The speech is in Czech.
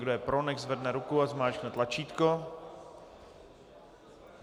Kdo je pro, nechť zvedne ruku a zmáčkne tlačítko.